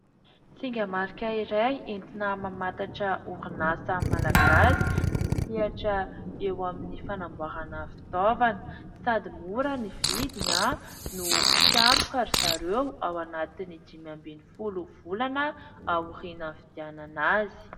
Singa marika iray entina mamantatra orinasa Malagasy. Misehatra eo amin'ny fanamboarana fitaovana sady mora ny vidina no mpiantoka ry zareo ao anatiny dimy ambin'ny folo volana aorianan'ny fividianana azy.